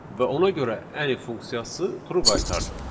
Və ona görə Any funksiyası true qaytardı.